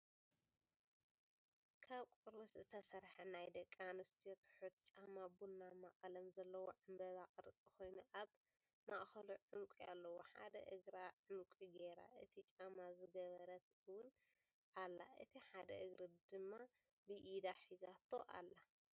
ካብ ቆርበት ዝተሰርሐ ናይ ደቂ ኣንስትዮ ትሑት ጫማ ቡናማ ቀለም ዘለዎ ዕምበባ ቅርፂ ኮይኑ ኣብ ማእከሉ ዕንቂ ኣለዎ ሓደ እግራ ዕንቂ ጌራ እቲ ጫማ ዝገበረት እውን ኣላ እቲ ሓደ እግሪ ድማ ብኢዳ ሒዛቶ ኣላ።